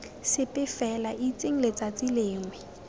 sepe fela itseng letsatsi lengwe